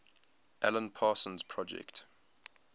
alan parsons project